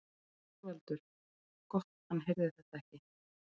ÞORVALDUR: Gott hann heyrði þetta ekki.